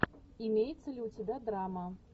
имеется ли у тебя драма